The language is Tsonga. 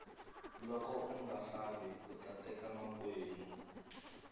loko unga fambi uta teka makwenu